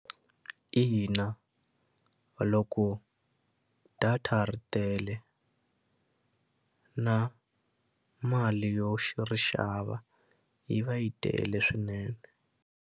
Ina, loko data ri tele na mali yo ri xava yi va yi tele swinene.